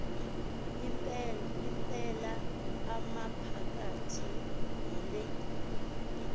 impela amaphakathi yile